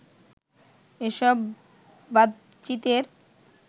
এসব বাতচিতের